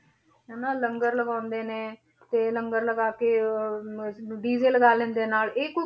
ਹਨਾ ਲੰਗਰ ਲਗਾਉਂਦੇ ਨੇ, ਤੇ ਲੰਗਰ ਲਗਾ ਕੇ ਅਹ DJ ਲਗਾ ਲੈਂਦੇ ਹੈ ਨਾਲ, ਇਹ ਕੋਈ